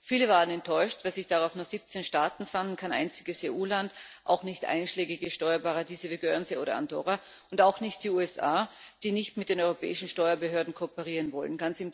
Viele waren enttäuscht, dass sich darauf nur 17 Staaten fanden, kein einziges EU Land, auch nicht einschlägige Steuerparadiese wie Guernsey oder Andorra und auch nicht die USA, die nicht mit den europäischen Steuerbehörden kooperieren wollen.